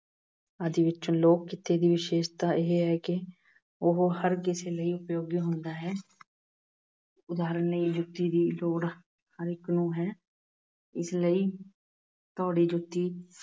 ਆਦਿ ਵਿੱਚ। ਲੋਕ-ਕਿੱਤੇ ਦੀ ਵਿਸ਼ੇਸ਼ਤਾ ਇਹ ਹੈ ਕਿ ਉਹ ਹਰ ਕਿਸੇ ਲਈ ਉਪਯੋਗੀ ਹੁੰਦਾ ਹੈ। ਉਦਾਹਰਣ ਲਈ ਜੁੱਤੀ ਦੀ ਲੋੜ ਹਰੇਕ ਨੂੰ ਹੈ। ਇਸ ਲਈ ਜੁੱਤੀ